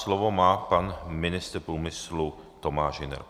Slovo má pan ministr průmyslu Tomáš Hüner.